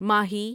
ماہی